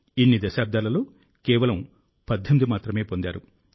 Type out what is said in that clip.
ఇన్ని దశాబ్దాలలో కేవలం 18 మాత్రమే పొందారు